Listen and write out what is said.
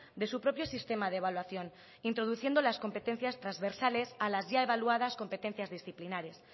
de su propio sistema de evaluación introduciendo las competencias transversales a las ya evaluadas competencias disciplinarias